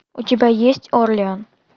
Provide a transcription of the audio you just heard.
у тебя есть орлеан